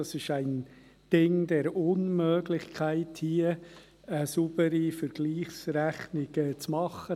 Es ist ein Ding der Unmöglichkeit, hier eine saubere Vergleichsrechnung zu machen.